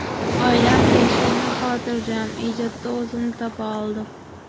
Oilam tinch, ko‘nglim xotirjam, ijodda o‘zimni topa oldim.